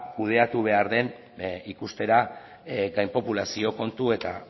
kudeatu behar den ikustera gainpopulazio kontu eta